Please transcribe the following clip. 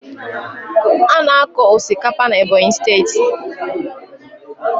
A na-akọ osikapa na Ebonyi steeti.